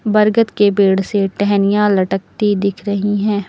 बरगद के पेड़ से टहनियां लटकती दिख रही हैं।